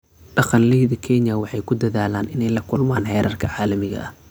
Dhaqanleyda Kenya waxay ku dadaalayaan inay la kulmaan heerarka caalamiga ah.